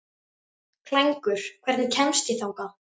Klængur, hvernig kemst ég þangað?